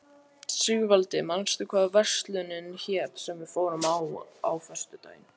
Sigvaldi, manstu hvað verslunin hét sem við fórum í á föstudaginn?